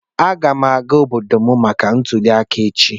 M ga-aga obodo m maka ntuli aka echi.